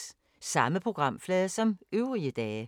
Samme programflade som øvrige dage